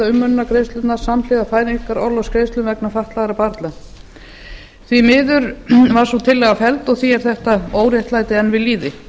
umönnunargreiðslurnar samhliða fæðingarorlofsgreiðslum vegna fatlaðra barna því miður var sú tillaga felld og því er þetta óréttlæti enn við lýði